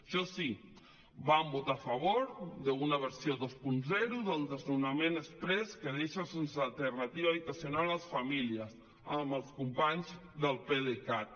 això sí van votar a favor d’una versió vint del desnonament exprés que deixa sense alternativa d’habitatge les famílies amb els companys del pdecat